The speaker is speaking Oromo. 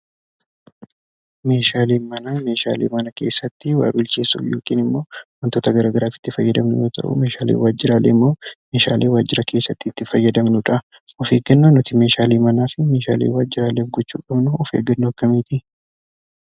Meeshaaleen manaa meeshaalee mana keessatti waa bilcheessuuf yookin immoo wantoota garagaraaf itti fayyadamnu yoo ta'u meeshaaleen waajjiraaleemmoo meeshaalee waajjira keessatti itti fayyadamnudha. Of eeggannaan nuti meeshaalee manaa fi meeshaalee waajjiraaleef gochuu qabnu of eeggannoo akkamiitii?